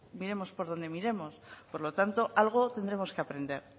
miremos por donde miremos por lo tanto algo tendremos que aprender